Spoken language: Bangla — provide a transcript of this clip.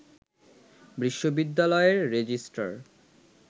বিশ্ববিদ্যালয়ের রেজিস্ট্রার